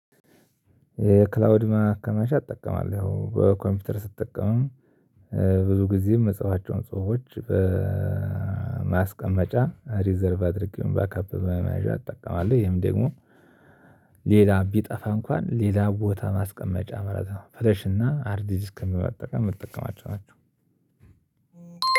የክላውድ ማከማቻ እጠቀማለሁ በኮምፒውተር ስትጠቀምም ብዙ ጊዜ ምጽፋቸውን ጽሁፎች በማስቀመጫ ሪዘርቭ አድርጌ ባካፕ በመመያዣ እጠቀማለሁ። ይሄም ደግሞ ሌላ ቢጠፋ እንኳን ሌላ ቦታ ማስቀመጫ መረጃ ነው። ፈለሽና ሃርድ ዲስክን በመጠቀም የምጠቀማቸው ናቸው።